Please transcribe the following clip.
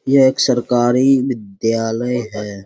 यह एक सरकारी विद्यालय है।